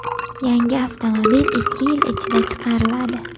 Yangi avtomobil ikki yil ichida chiqariladi.